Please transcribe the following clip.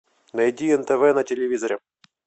найди нтв на телевизоре